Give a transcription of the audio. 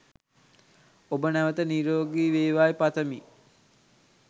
ඔබ නැවත නිරෝගී වේවායි පතමි.